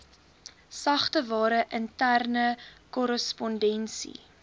sagteware interne korrespondensie